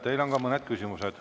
Teile on ka mõned küsimused.